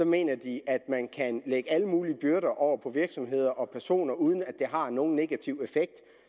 mener de at man kan lægge alle mulige byrder over på virksomheder og personer uden at det har nogen negativ effekt